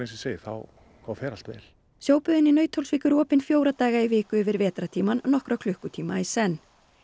segi þá fer allt vel í Nauthólsvík eru opin fjóra daga í viku yfir vetrartímann nokkra klukkutíma í senn